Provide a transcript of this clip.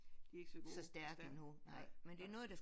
De er ikke så gode stærke nej nej